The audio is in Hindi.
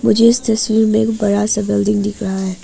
मुझे इस तस्वीर में एक बड़ा सा बिल्डिंग दिख रहा है।